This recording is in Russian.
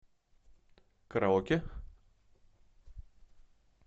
караоке